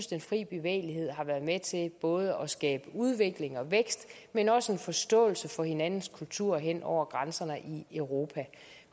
den frie bevægelighed har været med til både at skabe udvikling og vækst men også en forståelse for hinandens kulturer hen over grænserne i europa